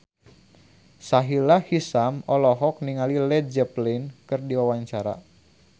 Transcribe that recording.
Sahila Hisyam olohok ningali Led Zeppelin keur diwawancara